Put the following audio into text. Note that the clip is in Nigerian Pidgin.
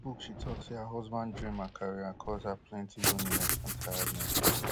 for di book she tok say her husband dream and career cause her plenty loneliness and tiredness